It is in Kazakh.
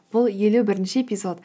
бұл елу бірінші эпизод